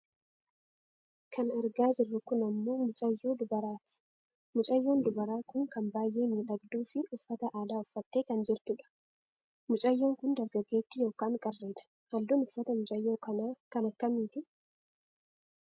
Kan argaa jirru kun ammoo mucayyoo dubaraati. Mucayyoon dubaraa kun kan baayyee miidhagduufi uffata aadaa uffattee kan jirtudha. Mucayyoon kun dargaggeettii yookaan qarreedha. Halluun uffata mucayyoo kanaa kan akkamii ti ?